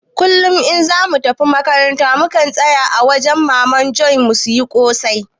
kullum in zamu tafi makarantar muna tsayawa a wajan maman Joe mu siya kosai